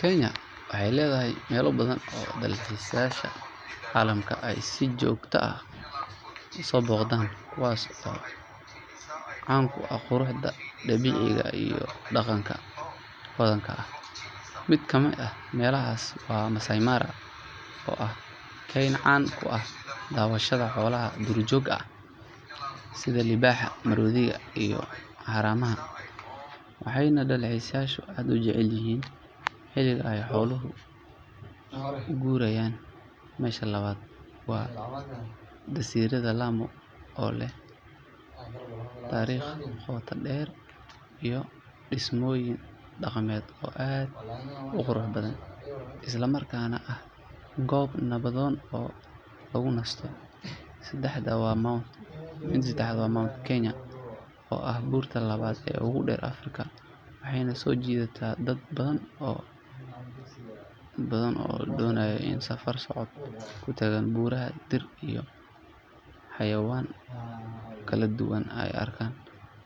Kenya waxay leedahay meelo badan oo dalxiisayaasha caalamka ay si joogto ah u soo booqdaan kuwaas oo caan ku ah quruxda dabiiciga ah iyo dhaqanka hodanka ah. Mid ka mid ah meelahaas waa Maasai Mara oo ah keyn caan ku ah daawashada xoolaha duurjoogta ah sida libaaxa, maroodiga iyo haramaha, waxayna dalxiisayaashu aad u jecel yihiin xilliga ay xooluhu u guurayaan. Meesha labaad waa jasiiradda Lamu oo leh taariikh qoto dheer iyo dhismooyin dhaqameed oo aad u qurux badan, isla markaana ah goob nabdoon oo lagu nasto. Seddexaadna waa Mount Kenya oo ah buurta labaad ee ugu dheer Afrika, waxayna soo jiidataa dad badan oo doonaya inay safar socod ku tagaan buuraha, dhir iyo xayawaan kala duwanna ay arkaan.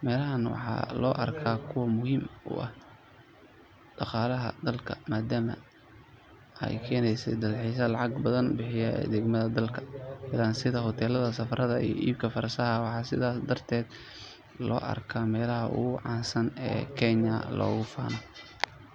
Meelahan waxaa loo arkaa kuwo muhiim u ah dhaqaalaha dalka maadaama ay keensadaan dalxiisayaal lacag badan ku bixiya adeegyada ay dalka ka helaan sida hoteelada, safarada iyo iibka farshaxanka. Waxaa sidaas daraadeed loo arkaa meelaha ugu caansan ee Kenya loogu faano.